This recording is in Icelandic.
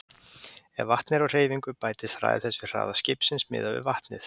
Ef vatnið er á hreyfingu bætist hraði þess við hraða skipsins miðað við vatnið.